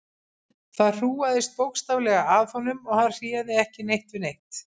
Það hrúgaðist bókstaflega að honum og hann réði ekki neitt við neitt.